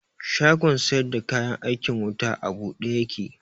Shagon sayar da kayan aikin wutan a buɗe ya ke